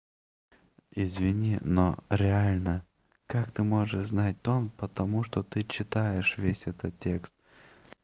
извини но реально как ты можешь знать дом потому что ты читаешь весь этот текст